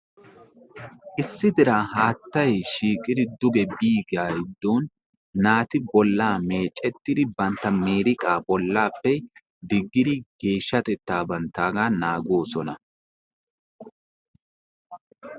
Issi diran haattay shiiqidi duge biyaagaa gidoon naati bolaa meecettidi bantta miiriqaa bolaappe diggidi geeshshatettaa banttaagaa naagoosona.